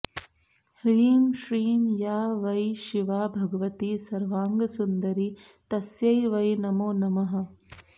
ह्रीं श्रीं या वै शिवा भगवती सर्वाङ्गसुन्दरी तस्यै वै नमो नमः